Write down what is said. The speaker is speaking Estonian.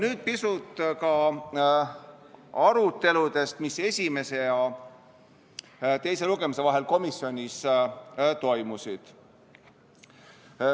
Nüüd pisut aruteludest, mis esimese ja teise lugemise vahel komisjonis toimusid.